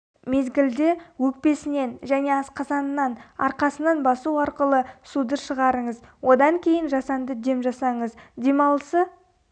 мезгілде өкпесінен және асқазанынан арқасынан басу арқылы суды шығарыңыз одан кейін жасанды дем жасаңыз демалысы